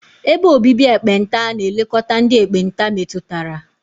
Ebe obibi ekpenta na-elekọta ndị ekpenta metụtara.